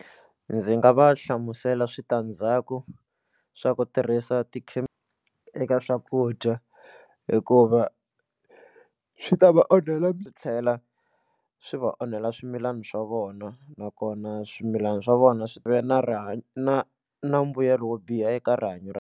Ndzi nga va hlamusela switandzhaku swa ku tirhisa eka swakudya hikuva swi ta va onhela swi tlhela swi va onhela swimilana swa vona nakona swimilana swa vona swi ve na rihanyo na na mbuyelo wo biha eka rihanyo ra.